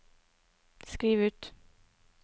skriv ut